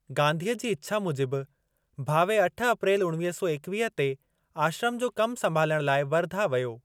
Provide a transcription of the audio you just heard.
गांधीअ जी इच्छा मूजिबि, भावे अठ अप्रेल उणवीह सौ एकवीह ते आश्रम जो कम संभालण लाइ वर्धा वियो।